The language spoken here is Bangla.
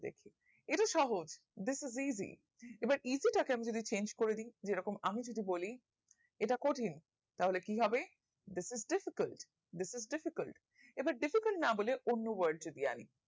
এটা সহজ this is easy এবার easy টাকে আমরা change করে দিই যেরকম আমি যদি বলি এটা কঠিন তাহলে কি হবে this is difficult This is difficult এবার difficult না বোলে অন্য word যদি আনি